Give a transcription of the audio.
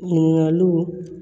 Ɲininkaliw